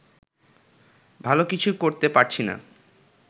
ভালো কিছু করতে পারছি না